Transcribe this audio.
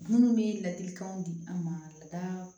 Minnu bɛ ladilikanw di an ma lada